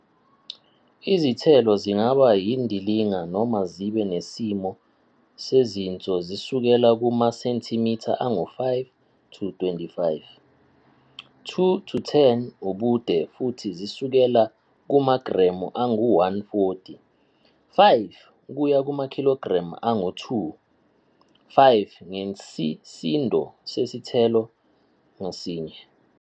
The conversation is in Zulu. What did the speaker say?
Izithelo zingaba yindilinga, noma zibe nesimo sezinso zisukela kumasentimitha angu-5-25, 2-10 ubude futhi zisukela kumagremu angu-140, 5 kuya kumakhilogremu angu-2, 5 ngesisindo sesithelo ngasinye.